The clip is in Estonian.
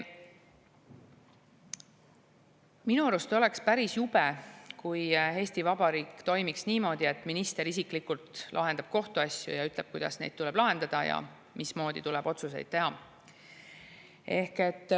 Minu arust oleks päris jube, kui Eesti Vabariik toimiks niimoodi, et minister isiklikult lahendab kohtuasju ja ütleb, kuidas neid tuleb lahendada ja mismoodi tuleb otsuseid teha.